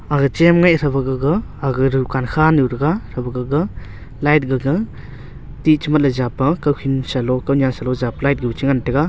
aga cham e tha ba gaga aga dukan kha nu thangnga thaba gaga light gaga tech japa kaokhi salo ku nya salo japanyu che ngan taiga.